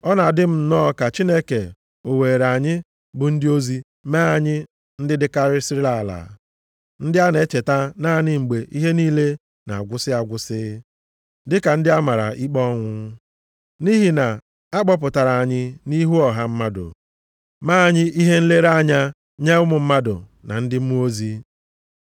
Ọ na-adị m nnọọ ka Chineke o weere anyị bụ ndị ozi mee anyị ndị dịkarịsịrị ala, ndị a na-echeta naanị mgbe ihe niile na-agwụsị agwụsị, dịka ndị a mara ikpe ọnwụ. Nʼihi na-akpọpụtara anyị nʼihu ọha mmadụ mee anyị ihe nlere anya nye ụmụ mmadụ na ndị mmụọ ozi.